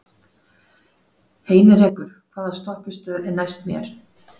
Heinrekur, hvaða stoppistöð er næst mér?